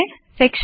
section